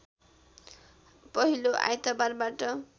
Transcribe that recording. पहिलो आइतबारबाट